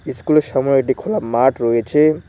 ইস্কুলের সময় একটি খোলা মাঠ রয়েছে।